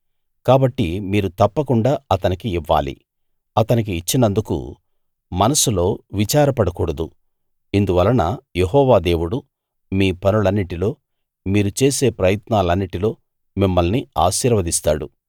కాబట్టి మీరు తప్పకుండా అతనికి ఇవ్వాలి అతనికి ఇచ్చినందుకు మనస్సులో విచారపడకూడదు ఇందువలన యెహోవా దేవుడు మీ పనులన్నిటిలో మీరు చేసే ప్రయత్నాలన్నిటిలో మిమ్మల్ని ఆశీర్వదిస్తాడు